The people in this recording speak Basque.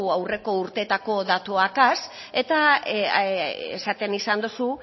aurreko urteetako datuez eta esaten izan duzu